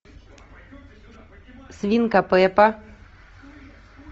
свинка пеппа